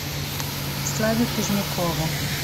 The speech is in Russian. славе позднякову